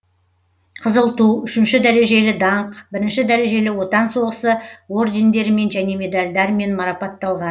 қызыл ту үшінші дәрежелі даңқ бірінші дәрежелі отан соғысы ордендерімен және медальдармен марапатталған